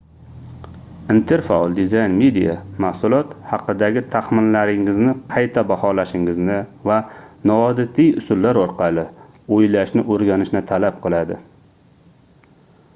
interfaol dizayn media mahsulot haqidagi taxminlaringizni qayta baholashingizni va noodatiy usullar orqali oʻylashni oʻrganishni talab qiladi